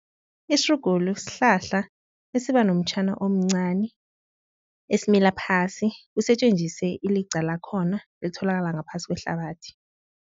Isirugulu sihlahla esiba nomtjhana omncani esimila phasi kusetjenziswe iliqa lakhona elitholakala ngaphasi kwehlabathi.